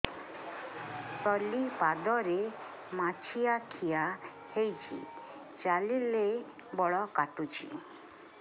ତଳିପାଦରେ ମାଛିଆ ଖିଆ ହେଇଚି ଚାଲିଲେ ବଡ଼ କାଟୁଚି